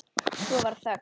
Svo varð þögn.